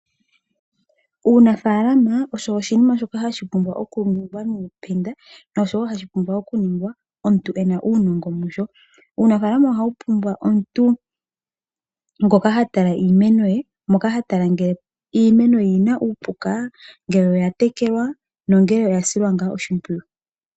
Uunafaalama osho oshinima shoka hashi pumbwa okuningwa nosho woo hashi pumbwa okuningwa omuntu ena uunongo musho. Uunafaalama ohawu pumbwa omuntu ngoka ha tala iimeno ye moka ha tala ngele iimeno oyina uupuka, ngele oya tekelwa nongele oya silwa ngaa oshimpwiyu.